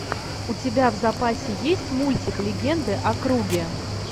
у тебя в запасе есть мультик легенды о круге